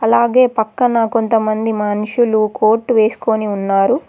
అలాగే పక్కన కొంతమంది మనుషులు కోట్ వేసుకొని ఉన్నారు.